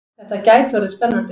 Þetta gæti orðið spennandi!